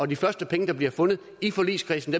de første penge der bliver fundet i forligskredsen